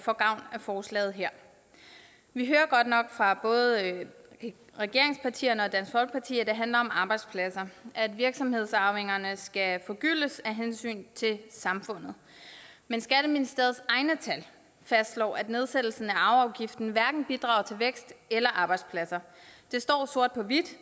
forslaget her vi hører godt nok fra både regeringspartierne og dansk folkeparti at det handler om arbejdspladser at virksomhedsarvingerne skal forgyldes af hensyn til samfundet men skatteministeriets egne tal fastslår at nedsættelsen af arveafgiften hverken bidrager til vækst eller arbejdspladser det står sort på hvidt